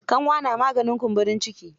Kanwa na maganin kumburin ciki.